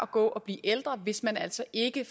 gå og blive ældre hvis man altså ikke